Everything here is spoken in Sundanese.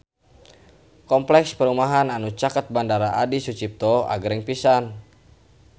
Kompleks perumahan anu caket Bandara Adi Sucipto agreng pisan